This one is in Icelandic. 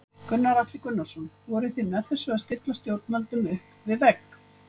Gunnar Atli Gunnarsson: Voruð þið með þessu að stilla stjórnvöldum upp við vegg?